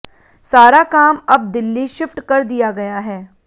सारा काम अब दिल्ली शिफ्ट कर दिया गया है